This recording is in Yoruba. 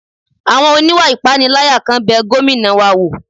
Àwọn oníwà ìpániláyà kan bẹ Gómìnà wa wò